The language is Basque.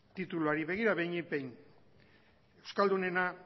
tituluari begira behinik behin euskaldunena